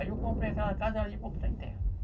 Aí eu comprei aquela casa ali para botar em terra.